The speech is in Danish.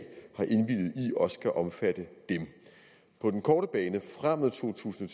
også skal omfatte dem på den korte bane frem mod to tusind